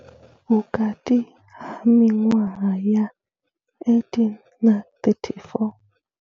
Vhukati ha miṅwaha ya 18 na 34.